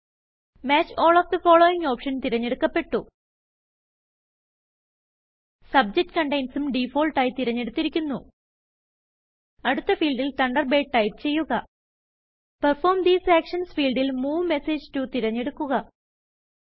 match all of the followingഓപ്ഷൻ തിരഞ്ഞെടുക്കപ്പെട്ടു subject Containsഉം ഡിഫാൾട്ടായി തിരഞ്ഞെടുത്തിരിക്കുന്നു അടുത്ത ഫീൽഡിൽ തണ്ടർബേർഡ് ടൈപ്പ് ചെയ്യുക പെർഫോർമ് തീസ് ആക്ഷൻസ് ഫീൽഡ് ൽ മൂവ് മെസേജ് toതിരഞ്ഞെടുക്കുക